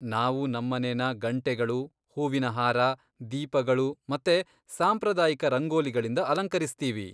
ನಾವು ನಮ್ಮನೆನ ಗಂಟೆಗಳು, ಹೂವಿನ ಹಾರ, ದೀಪಗಳು ಮತ್ತೆ ಸಾಂಪ್ರದಾಯಿಕ ರಂಗೋಲಿಗಳಿಂದ ಅಲಂಕರಿಸ್ತೀವಿ.